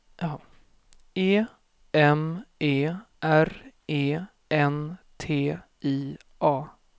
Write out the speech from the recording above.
E M E R E N T I A